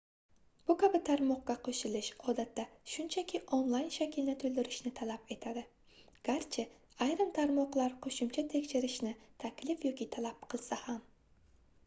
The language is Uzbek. bu kabi tarmoqqa qoʻshilish odatda shunchaki onlayn shaklni toʻldirishni talab etadi garchi ayrim tarmoqlar qoʻshimcha tekshirishni taklif yoki talab qilsa ham